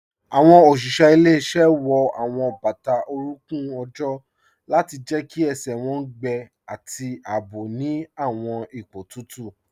Awọn oṣiṣẹ ilẹ̀-iṣẹ wọ awọn bata oruńkùn ojó lati jẹ́ kí ẹṣẹ wọn gbẹ̀ ati àabò ni awọn ipo tutu